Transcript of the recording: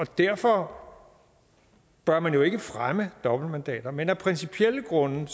derfor bør man jo ikke fremme dobbeltmandater men af principielle grunde